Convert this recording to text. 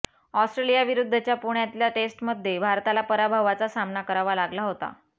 ऑस्ट्रेलियाविरुद्धच्या पुण्यातल्या टेस्टमध्ये भारताला पराभवाचा सामना करावा लागला होता